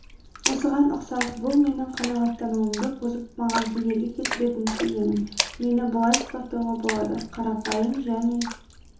осыған ұқсас бұл менің қанағаттануымды бұзып маған кедергі келтіретінін сеземін мені бұлай сипаттауға болады қарапайым және